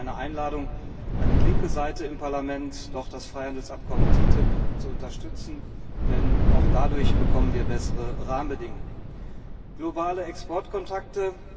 Das ist auch eine Einladung an die linke Seite im Parlament, doch das Freihandelsabkommen TTIP zu unterstützen, denn auch dadurch bekommen wir bessere Rahmenbedingungen, globale Exportkontakte.